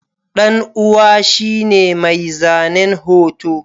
ɗan'uwa shine mai zanen hoto.